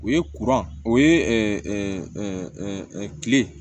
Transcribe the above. O ye o ye kile